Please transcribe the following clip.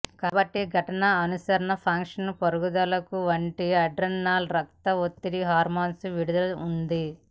కాబట్టి ఘటన అనుసరణ ఫంక్షన్ పరుగులకు వంటి ఆడ్రెనాలిన్ రక్త ఒత్తిడి హార్మోన్లు విడుదల ఉంది